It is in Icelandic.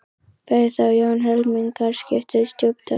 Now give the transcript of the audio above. Bauð þá Jón helmingaskipti á stjúpdóttur